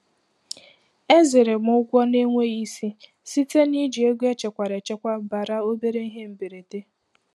Ezere m ụgwọ na-enweghị isi site na iji ego echekwara echekwabara obere ihe mberede.